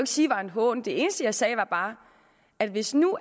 sige var en hån det eneste jeg sagde var bare at hvis nu